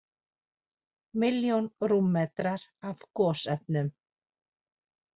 Milljón rúmmetrar af gosefnum